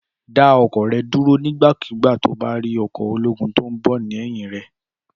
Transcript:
Dà ọkọ̀ rẹ dúró nígbà kúgbà tí o bá rí ọkọ̀ ológun tíí o nbọ léyìn rẹ